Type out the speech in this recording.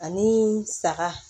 Ani saga